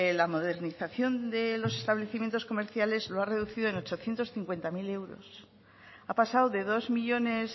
la modernización de los establecimientos comerciales lo ha reducido en ochocientos cincuenta mil euros ha pasado de dos millónes